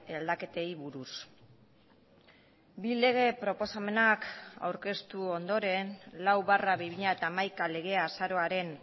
aldaketei buruz bi lege proposamenak aurkeztu ondoren lau barra bi mila hamaika legea azaroaren